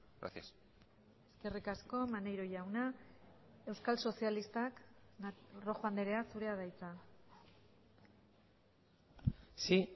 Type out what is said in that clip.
gracias eskerrik asko maneiro jauna euskal sozialistak rojo andrea zurea da hitza sí